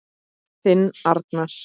Þinn Arnar.